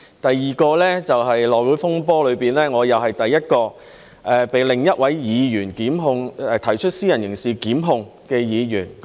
第二件事就是內會風波中，我又是第一位被另一位議員提出私人刑事檢控的議員。